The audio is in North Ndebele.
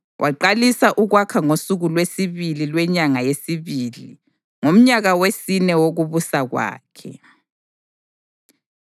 Waqalisa ukwakha ngosuku lwesibili lwenyanga yesibili ngomnyaka wesine wokubusa kwakhe.